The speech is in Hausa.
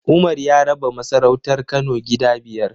Umar ya raba masarautar Kano gida biyar.